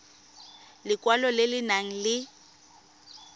lekwalo le le nang le